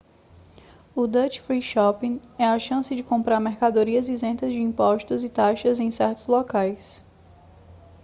o duty free shopping é a chance de comprar mercadorias isentas de impostos e taxas em certos locais